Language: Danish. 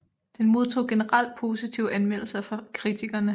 Den modtog generelt positive anmeldelser fra kritikerne